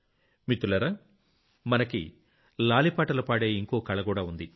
మిత్రులారా మనకి లాలి పాటలు పాడే ఇంకో కళకూడా ఉంది